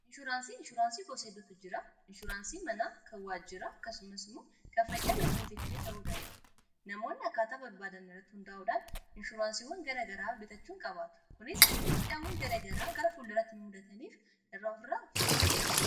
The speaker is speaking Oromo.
inshuraansii inshuraansii gosa heddutu jira. inshuraansii manaa, kan waajjira akkasumas kan fayyaa lubbuu keef illee ta'u danda'a. namoonni akkaataa barbaadaanin irratti hundaa'udhaan inshuraansiwwan gara garaa bitachuun qabaatu. kunis miidhaawwa garagaraa gara fulduratti nu mudatani irraa of ittisuf.